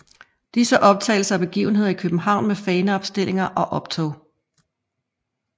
Diverse optagelser af begivenheder i København med faneopstillinger og optog